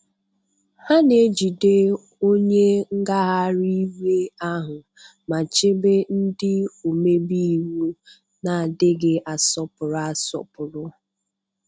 Ha na-ejide onye ngagharị iwe ahụ, ma chebe ndị omebe iwu na-adịghị asọpụrụ. asọpụrụ.